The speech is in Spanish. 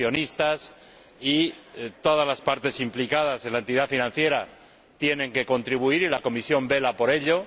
los accionistas y todas las partes implicadas en la entidad financiera también tienen que contribuir, y la Comisión vela por ello.